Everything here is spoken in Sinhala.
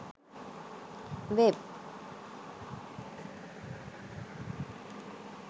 web